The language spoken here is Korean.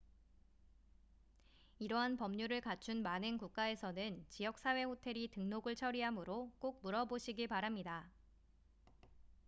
이러한 법률을 갖춘 많은 국가에서는 지역 사회 호텔이 등록을 처리하므로 꼭 물어보시기 바랍니다